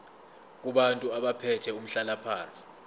kubantu abathathe umhlalaphansi